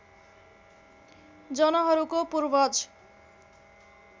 जनहरूको पूर्वज